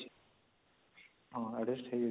ହଁ